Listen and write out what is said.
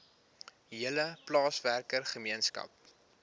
hele plaaswerker gemeenskap